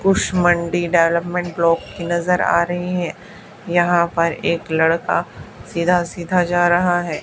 मंडी development block की नजर आ रही है यहां पर एक लड़का सीधा सीधा जा रहा है।